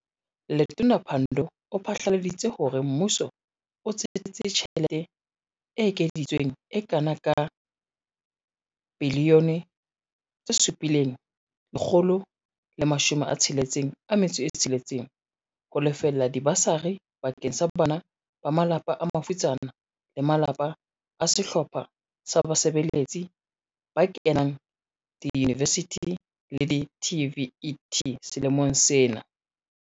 Letona Pandor o phatlaladi tse hore Mmuso o tsetetse tjhe lete e ekeditsweng e kana ka R7.166 biliyone ho lefella diba sari bakeng sa bana ba malapa a mafutsana le malapa a sehlo pha sa basebeletsi ba kenang diyunivesithing le di-TVET selemong sena.